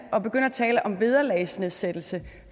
tale om vederlagsnedsættelse